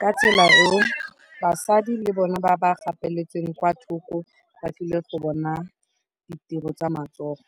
ka tsela eo basadi le bone ba ba gapeletsegang kwa thoko ba tlile go bona ditiro tsa matsogo.